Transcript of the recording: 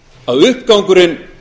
að uppgangurinn